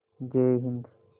जय हिन्द